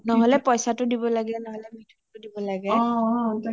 নহলে পইচাটো দিব লাগে ,নহলে মিথুটো দিব লাগে